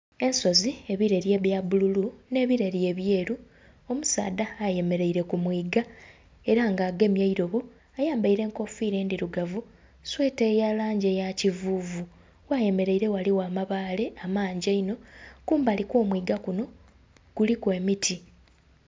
Ensozi, ebireri ebya bbululu nhe ebireri ebyeru, omusaadha ayemereire ku mwiiga era nga agemye eirobo ayambaire enkofira endhirugavu, sweeta eya langi eya kivuvu gheyemereire ghaligho amabaale amangi einho. Kumbali kwo omwiiga kuno kuliku emiti.